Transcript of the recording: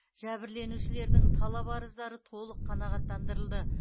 жәбірленушілердің талап арыздары толық қанағаттандырылды